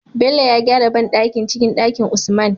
Bello ya gyara banɗakin cikin Ɗakin usman